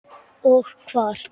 Og hvar.